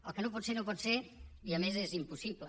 el que no pot ser no pot ser i a més és impossible